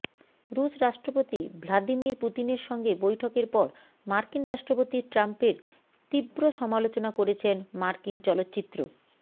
রুশ রাষ্ট্রপতি ভ্লাদিমির পুতিনের সঙ্গে বৈঠকের পর মার্কিন রাষ্ট্রপতি ট্রাম্পের তীব্র সমালোচনা করেছেন মার্কিন চলচ্চিত্র